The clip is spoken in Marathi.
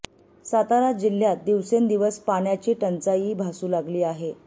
सातारा जिल्ह्यात दिवसेंदिवस पाण्याची टंचाईही भासू लागली आहे